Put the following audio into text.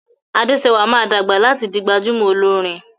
Adesewa má dàgbà láti dì gbajúmò Olorin